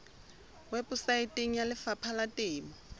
weposaeteng ya lefapha la temo